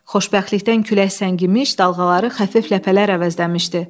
Xoşbəxtlikdən külək səngimiş, dalğaları xəfif ləpələr əvəzləmişdi.